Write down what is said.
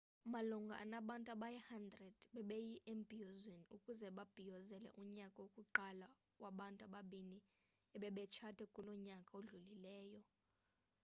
malunga anabantu abayi-100 bebeye embhiyozweni ukuze babhiyozele unyaka wokuqala wabantu ababini ebebetshate kulo nyaka udlulileyo